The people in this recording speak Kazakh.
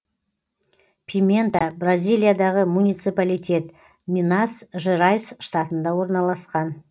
пимента бразилиядағы муниципалитет минас жерайс штатында орналасқан